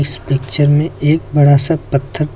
इस पिक्चर में एक बड़ा सा पत्थर--